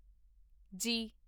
ਜੀ